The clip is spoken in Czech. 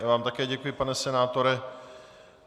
Já vám také děkuji, pane senátore.